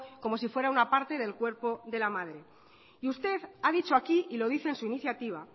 como si fuera una parte del cuerpo de la madre y usted ha dicho aquí y lo dice en su iniciativa